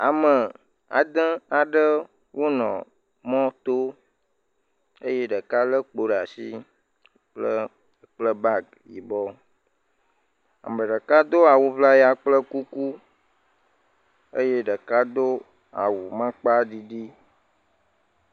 Ame ade aɖe nɔ mɔto eye ɖeka le kpo ɖe asi kpla bagi yibɔ ame ɖeka do awu ʋlaya kple kuku eye ɖeka do awu amaŋkpaɖiɖi